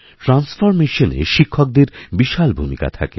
transformation এ শিক্ষকদের বিশালভূমিকা থাকে